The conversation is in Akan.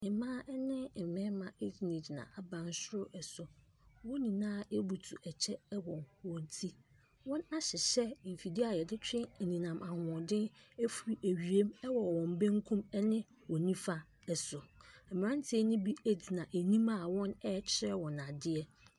Mmaa ne mmarima gyinagyina abansoro so wɔn nyinaa hyɛ kyɛ wɔ wɔn ti. Wɔahyehyɛ mfidie a yɛde twe anyinam ahoɔden firi awia mu wɔ wɔn bankum ne wɔn nnifa so. Mmeranteɛ ne bi gyina anim a wɔrekyerɛ wɔn adeɛ.